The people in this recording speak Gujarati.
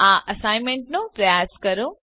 આ એસાઈનમેંટ ને પ્રયાસ કરો